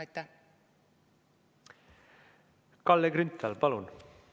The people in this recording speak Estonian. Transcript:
Kalle Grünthal, palun!